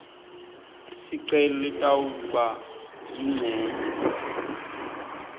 sicelo litawuba yincenye